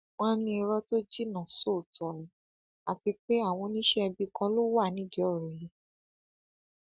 wọn ní irọ tó jinná sóòótọ ni àti pé àwọn oníṣẹẹbí kan ló wà nídìí ọrọ yìí